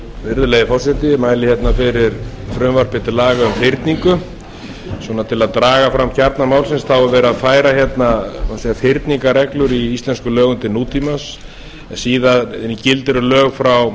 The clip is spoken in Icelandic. virðulegi forseti ég mæli hérna fyrir frumvarpi til laga um fyrningu svona til að draga fram kjarna málsins þá er verið að færa hérna má segja fyrningarreglur í íslenskum lögum til nútímans síðan gildir um lög frá